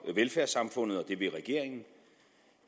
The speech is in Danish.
velfærdssamfundet og det vil regeringen